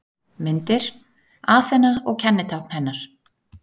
Myndir: Aþena og kennitákn hennar.